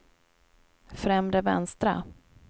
främre vänstra